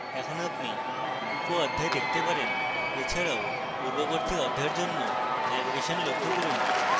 এখন আপনি উপঅধ্যায় দেখতে পারেন এছাড়াও পূর্ববর্তী অধ্যায়ের জন্য ন্যাভিগেশন লক্ষ্য করুন